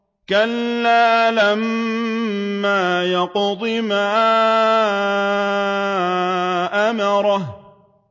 كَلَّا لَمَّا يَقْضِ مَا أَمَرَهُ